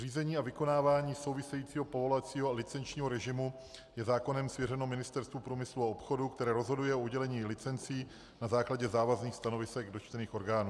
Řízení a vykonávání souvisejícího povolovacího a licenčního režimu je zákonem svěřeno Ministerstvu průmyslu a obchodu, které rozhoduje o udělení licencí na základě závazných stanovisek dotčených orgánů.